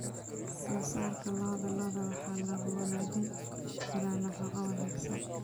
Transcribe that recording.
Soosaarka lo'da lo'da waxaa lagu wanaajin karaa nafaqo wanaagsan.